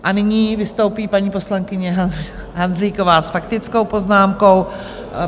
A nyní vystoupí paní poslankyně Hanzlíková s faktickou poznámkou.